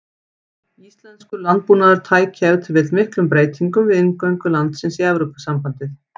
Íslenskur landbúnaður tæki ef til vill miklum breytingum við inngöngu landsins í Evrópusambandið.